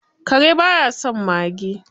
Kare ba ya son mage